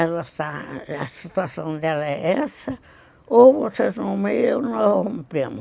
Ela está... A situação dela é essa ou vocês nomeiam e nós rompemos.